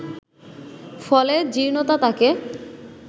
ফলে জীর্ণতা তাঁকে